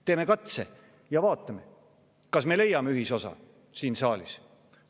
Teeme katse ja vaatame, kas me leiame ühisosa siin saalis.